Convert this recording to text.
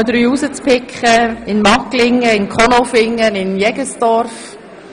Unter anderem waren wir in Magglingen, in Konolfingen und in Jegenstorf.